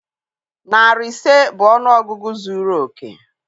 Narị ise bụ ọnụọgụgụ zuru oke.